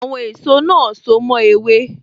Àwọn èso náà so mo ewé